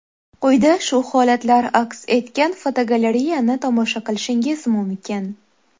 Quyida shu holatlar aks etgan fotogalereyani tomosha qilishingiz mumkin.